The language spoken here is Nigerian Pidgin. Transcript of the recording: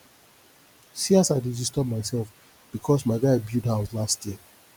see as i dey disturb mysef because my guy build house last year